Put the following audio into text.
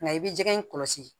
Nka i bɛ jɛgɛ in kɔlɔsi